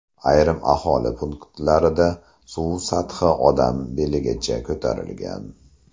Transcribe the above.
Ayrim aholi punktlarida suv sathi odam beligacha ko‘tarilgan.